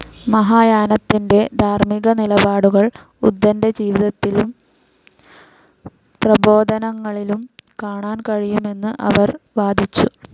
മഹായാനത്തിൻ്റെ ധാർമിക നിലപാടുകൾ ഉദ്ധൻ്റെ ജീവിതത്തിലും പ്രബോധനങ്ങളിലും കാണാൻ കഴിയുമെന്ന് അവർ വാദിച്ചു.